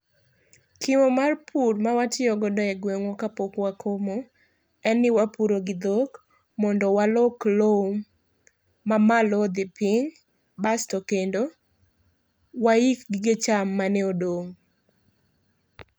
kimo mar pur ma watiyo godo e gweng'wa kapok wakomo, en ni wapuro gi dhok mondo walok lowo mamalo odhi piny, basto kendo waik gige cham mane odong'.